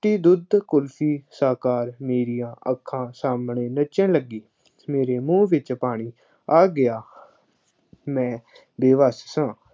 ਚਿੱਟੀ ਦੁੱਧ ਕੁਲਫੀ, ਸ਼ਕਲ ਮੇਰੀਆਂ ਅੱਖਾਂ ਸਾਹਮਣੇ ਨੱਚਣ ਲੱਗੀ। ਮੇਰੇ ਮੂੰਹ ਵਿੱਚ ਪਾਣੀ ਆ ਗਿਆ। ਮੈਂ ਬੇਵੱਸ ਸਾਂ।